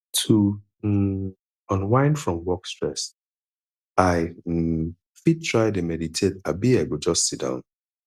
to um unwind from work stress i um fit try dey meditate abi i go just sit down